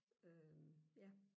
øh ja